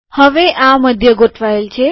હવે આ મધ્ય ગોઠવાયેલ છે